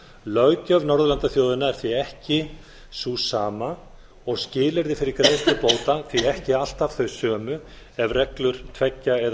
löggjöf norðurlandaþjóðanna er því ekki sú sama og skilyrði fyrir greiðslu bóta því ekki alltaf þau sömu ef reglur tveggja eða